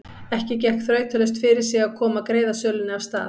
Ekki gekk þrautalaust fyrir sig að koma greiðasölunni af stað.